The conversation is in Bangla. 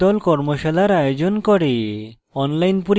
কর্মশালার আয়োজন করে